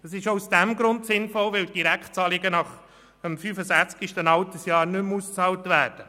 Das ist auch aus diesem Grund sinnvoll, weil Direktzahlungen nach dem 65. Altersjahr nicht mehr ausbezahlt werden.